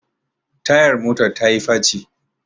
tayar motar ta yi faci